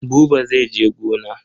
Buba zai je gona.